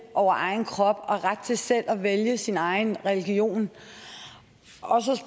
over egen krop og ret til selv at vælge sin egen religion